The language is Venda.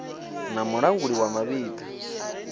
na mulanguli wa mavhi ḓa